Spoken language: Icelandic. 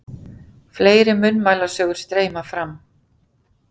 Fleiri munnmælasögur streyma fram.